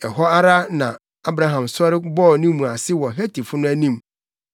Ɛhɔ ara na Abraham sɔre bɔɔ ne mu ase wɔ Hetifo no anim,